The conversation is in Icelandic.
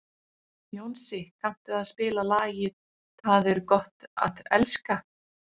Jónsi, kanntu að spila lagið „Tað er gott at elska“?